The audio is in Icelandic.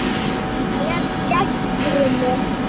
Vel gert, Krummi!